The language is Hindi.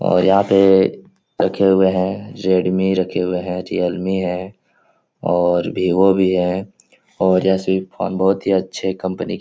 और यहाँ पे रखे हुए हैं रेडमी रखे हुए हैं रियलमी हैं और विवो भी हैं और जैसे फ़ोन बोहोत ही अच्छे कंपनी --